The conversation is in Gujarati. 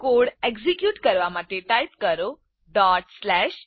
કોડ એક્ઝીક્યુટ કરવા માટે ટાઇપ કરો incr